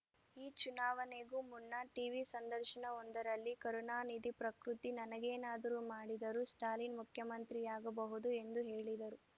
ಈ ಚುನಾವಣೆಗೂ ಮುನ್ನ ಟೀವಿ ಸಂದರ್ಶನವೊಂದರಲ್ಲಿ ಕರುಣಾನಿಧಿ ಪ್ರಕೃತಿ ನನಗೇನಾದರೂ ಮಾಡಿದರೂ ಸ್ಟಾಲಿನ್‌ ಮುಖ್ಯಮಂತ್ರಿಯಾಗಬಹುದು ಎಂದು ಹೇಳಿದರು